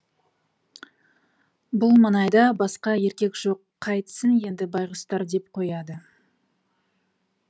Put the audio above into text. бұл маңайда басқа еркек жоқ қайтсін енді байғұстар деп қояды